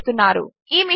వారు సహకరిస్తున్నారు